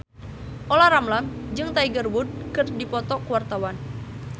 Olla Ramlan jeung Tiger Wood keur dipoto ku wartawan